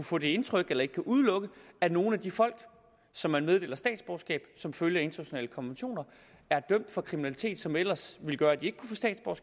få det indtryk eller ikke kan udelukke at nogle af de folk som man meddeler statsborgerskab som følge af internationale konventioner er dømt for kriminalitet som ellers ville gøre at de